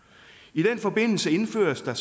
i den forbindelse indføres der